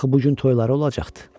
Axı bu gün toyuları olacaqdı.